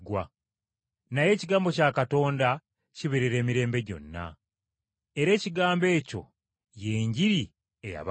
Naye ekigambo kya Mukama Katonda kibeerera emirembe gyonna.” Era ekigambo ekyo y’Enjiri eyababuulirwa.